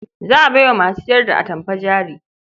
Za a bai wa masu sayar da atamfa jari.